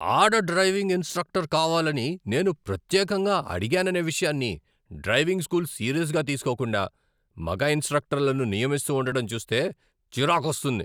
ఆడ driving instructor కావాలని నేను ప్రత్యేకంగా అడిగాననే విషయాన్ని డ్రైవింగ్ స్కూల్ సీరియస్గా తీసుకోకుండా, మగ ఇన్స్ట్రక్టర్లను నియమిస్తూ ఉండటం చూస్తే చిరాకొస్తుంది.